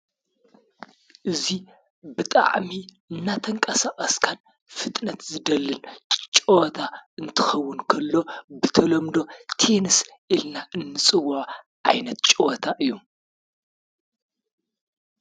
እዚ ብጣዕሚ እናተቀሳቀስካን ፍጥነት ዝደልን ፀወታ እንትኾዉን እንከሎ ብተለምዶ ቴንስ ኢልና ንፅዎዖ ዓይነት ፀወታ እዩ።